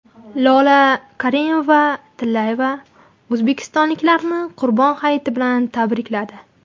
Lola Karimova-Tillayeva o‘zbekistonliklarni Qurbon hayiti bilan tabrikladi.